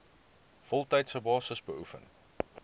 voltydse basis beoefen